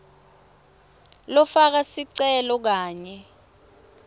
lofaka sicelo kanye